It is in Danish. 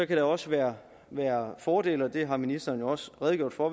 kan der også være være fordele ved det har ministeren også redegjort for